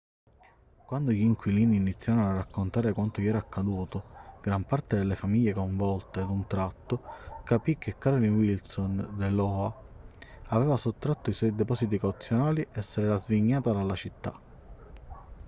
quando gli inquilini iniziarono a raccontare quanto gli era accaduto gran parte delle famiglie coinvolte d'un tratto capì che carolyn wilson dell'oha aveva sottratto i suoi depositi cauzionali e se l'era svignata dalla città